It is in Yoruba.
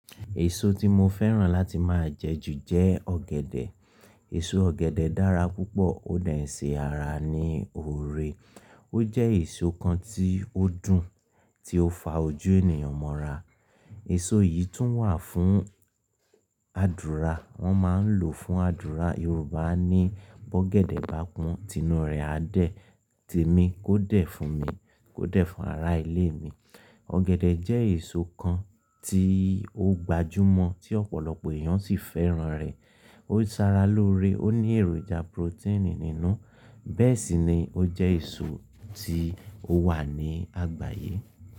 Èso tí mo fẹ́ràn láti máa jẹ jù jẹ ọ̀gẹ̀dẹ̀. Èso ọ̀gẹ̀dẹ̀ dára púpọ̀, ó de nṣé ara ní oore, ó jẹ́ èso kan tí ó dùn, tí ó fa ojú ènìyàn mọ́ra. Èso yìí tún wà fún àdúra, wọ́n máa ń lò fún àdúra. Yorùbá ní "bọ́ ọ̀gẹ̀dẹ̀ bá pọ́n tinú rẹ̀ á dẹ̀", "te mí kó dẹ̀ fún mi", "kó dẹ̀ fún ará ilé mi". Ọ̀gẹ̀dẹ̀ jẹ́ èso kan tí ó gbajúmọ̀ tí ọ̀pọ̀lọpọ̀ èèyàn sì fẹ́ràn rẹ̀. Ó sara lóore, ó ní èròjà protein nínú, bẹ́ẹ̀ sì ni ó jẹ́ èso tí ó wà ní àgbáyé.